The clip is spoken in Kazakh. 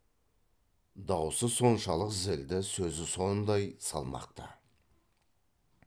даусы соншалық зілді сөзі сондай салмақты